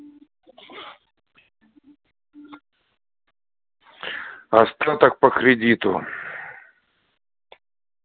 остаток по кредиту